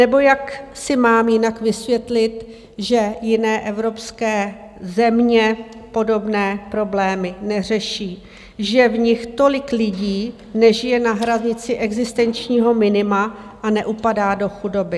Nebo jak si mám jinak vysvětlit, že jiné evropské země podobné problémy neřeší, že v nich tolik lidí nežije na hranici existenčního minima a neupadá do chudoby?